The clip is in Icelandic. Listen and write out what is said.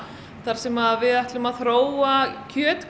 þar sem við ætlum að þróa